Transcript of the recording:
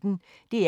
DR P1